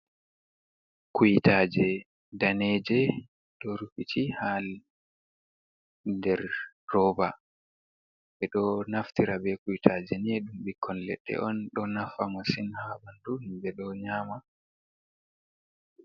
Kuytaaje daneeje, ɗo rufiti haa nder rooba, ɓe ɗo naftira be kuytaaje ni, ɗum ɓikkon leɗɗe on, ɗo nafa masin haa ɓanndu ɓe ɗo nyaama.